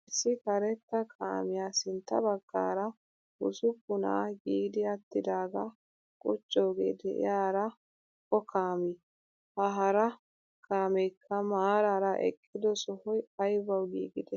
Issi karetta kaamiyaa sintta baggaara bussupunna giidi attidaga quccoge de'iyaara o kaami? Ha hara kaamekka maarara eqqido sohoy aybawu giigide?